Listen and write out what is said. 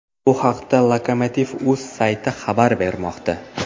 Bu haqda lokomotiv.uz sayti xabar bermoqda.